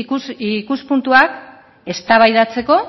ikuspuntuak eztabaidatzeko